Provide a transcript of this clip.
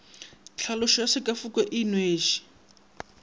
tlhaloso ya sekafoko se inweše